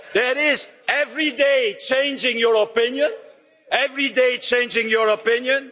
That is, every day changing your opinion?